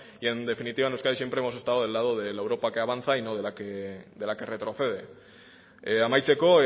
y en definitiva en euskadi siempre hemos estado del lado de la europa que avanza y no de la que retrocede amaitzeko